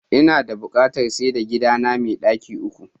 Inada buƙatar saida gidana me ɗaki uku.